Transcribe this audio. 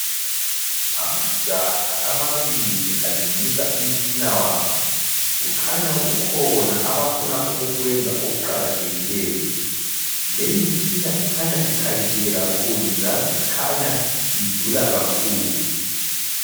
Amajaha amabili alungisa umtshina wabo. Kukhanya kukhona abafuna ukukwenza okuqakathekileyo. Leyimtshina ikhanya ikhaliphile kakhulu, njalo ikhanya idula kakhulu.